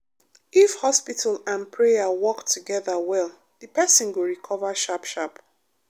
if hospital and prayer work together well the person go recover sharp sharp.